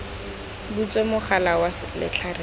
butswe mogala wa letlhare le